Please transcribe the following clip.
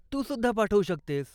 तू सुद्धा पाठवू शकतेस.